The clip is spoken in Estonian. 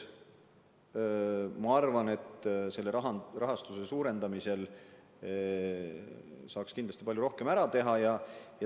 Ma arvan, et selle rahastuse suurendamisel saaks kindlasti palju rohkem ära teha.